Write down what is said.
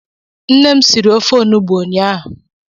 Nne m siri ofe olugbu ụnyaahụ.